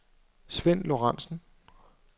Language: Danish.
Sven Lorenzen